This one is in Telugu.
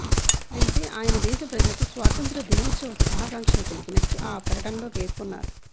అయితే ఆయన దేశ ప్రజలకి స్వాతంత్ర దినోత్సవ శుభాకాంక్షలు తెలిపినట్టు ఆ ప్రకటనలో పేర్కొన్నారు